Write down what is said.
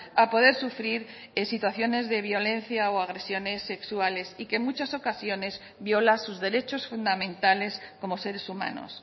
a poder sufrir situaciones de violencia o agresiones sexuales y que en muchas ocasiones violan sus derechos fundamentales como seres humanos